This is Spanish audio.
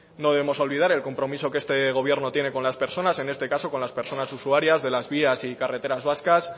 no debemos olvidar el compromiso que este gobierno tiene con las personas en este caso con las personas usuarias de las vías y de carreteras vascas